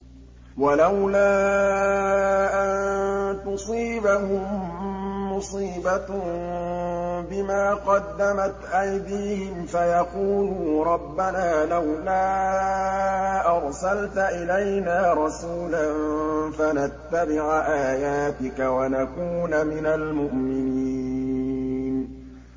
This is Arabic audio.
وَلَوْلَا أَن تُصِيبَهُم مُّصِيبَةٌ بِمَا قَدَّمَتْ أَيْدِيهِمْ فَيَقُولُوا رَبَّنَا لَوْلَا أَرْسَلْتَ إِلَيْنَا رَسُولًا فَنَتَّبِعَ آيَاتِكَ وَنَكُونَ مِنَ الْمُؤْمِنِينَ